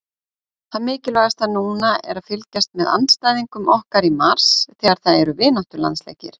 Það mikilvægasta núna er að fylgjast með andstæðingum okkar í mars þegar það eru vináttulandsleikir